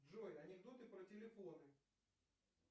джой анекдоты про телефоны